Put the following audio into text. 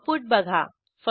output बघा